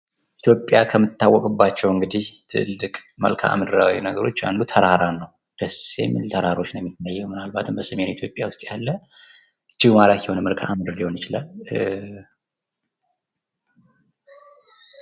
ኢትዮጵያ ከትታወቅባቸው እንግዲህ ትልቅ መልክዓ ምድርዊ ነገሮች አንዱ ተራራ ነው። ደስ የሚል ተራሮች ነው የሚታየው ምናልባት በሰሜን ተራሮች ዉስጥ ያለ እጅግ ማራኪ የሆን ሊሆን ይችላል።